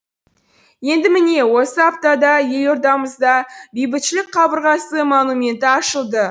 енді міне осы аптада елордамызда бейбітшілік қабырғасы монументі ашылды